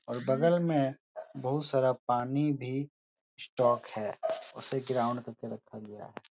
और बगल में बहोत सारा पानी भी स्टॉक है। उसे ग्राउंड पे लिया है।